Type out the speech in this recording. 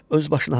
Öz başına.